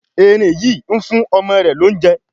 Eerin yi ń fún ọmọ rẹ l'ounjẹ